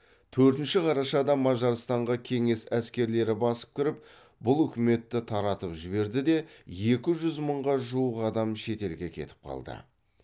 төртінші қарашада мажарстанға кеңес әскерлері басып кіріп бұл үкіметті таратып жіберді де екі жүз мыңға жуық адам шетелге кетіп қалды